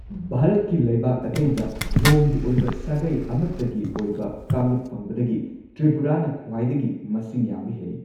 ꯚꯥꯔꯠꯀꯤ ꯂꯩꯕꯥꯛ ꯑꯇꯩꯗ ꯌꯣꯡꯒꯤ ꯑꯣꯏꯕ ꯁꯥꯒꯩ ꯑꯃꯠꯇꯒꯤ ꯑꯣꯏꯕ ꯀꯥꯡꯂꯨꯞ ꯐꯪꯕꯗꯒꯤ ꯇ꯭ꯔꯤꯄꯨꯔꯥꯅ ꯈ꯭ꯋꯥꯏꯗꯒꯤ ꯃꯁꯤꯡ ꯌꯥꯝꯕ ꯍꯦꯜꯂꯤ꯫